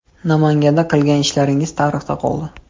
Namanganda qilgan ishlaringiz tarixda qoldi.